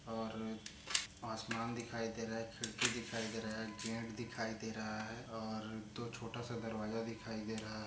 और आसमान दिखाई दे रहा है खिड़की दिखाई दे रहा है गेट दिखाई दे रहा है और दो छोटासा दरवाजा दिखाई दे रहा है।